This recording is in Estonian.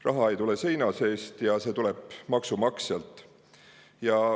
Raha ei tule seina seest, see tuleb maksumaksjalt.